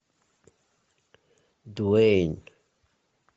дуэйн